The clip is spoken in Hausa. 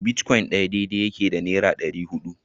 Bitcoin ɗaya daidai yake da naira ɗari hudu